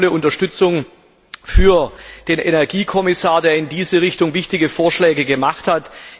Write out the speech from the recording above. Deshalb volle Unterstützung für den Energiekommissar, der in diese Richtung gehende wichtige Vorschläge gemacht hat!